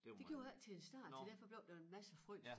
Det gjorde jeg ikke til at starte så derfor blev der en masse frøs